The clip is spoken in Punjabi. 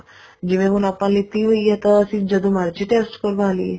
ਜਿਵੇਂ ਹੁਣ ਆਪਾਂ ਲਿੱਤੀ ਹੋਈ ਆ ਤਨ ਆਪਾਂ ਹੁਣ ਜਦੋਂ ਮਰਜ਼ੀ test ਕਰਵਾ ਲਈਏ